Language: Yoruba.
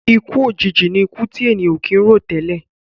Ikú òjijì ní ikú ti èèyàn ò kì ń rò tẹ́lẹ̀.